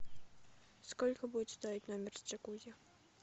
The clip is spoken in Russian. сколько будет стоить номер с джакузи